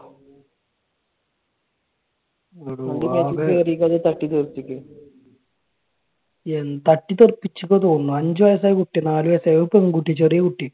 മേത്തേക്ക് കേറിയിട്ട് അത് തട്ടി തെറുപ്പിക്കും. എൻ തട്ടി തെറുപ്പിച്ചെന്ന തോന്നുന്നേ. അഞ്ചു വയസ്സായ കുട്ടി. നാല് വയസ്സായ ഒരു പെൺകുട്ടി. ചെറിയ കുട്ടി.